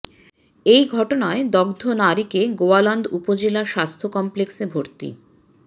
এ ঘটনায় দগ্ধ নারীকে গোয়ালন্দ উপজেলা স্বাস্থ্য কমপ্লেক্সে ভর্তি